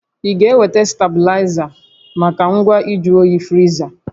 Ị ga-enweta stabilaịza maka ngwa nju oyi friza